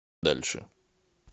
дальше